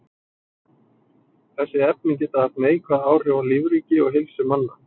Þessi efni geta haft neikvæð áhrif á lífríki og heilsu manna.